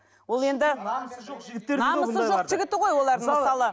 ол енді намысы жоқ жігіттер намысы жоқ жігіті ғой олардың мысалы